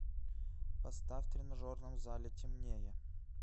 поставь в тренажерном зале темнее